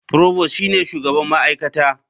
Prost shine shugaban ma'aikata.